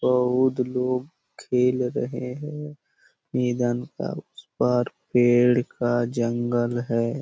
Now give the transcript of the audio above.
बहुत लोग खेल रहे है मैदान का उस पार पेड़ का जंगल है।